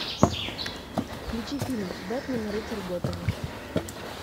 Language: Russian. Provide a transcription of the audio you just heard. включи фильм бэтмен рыцарь готэма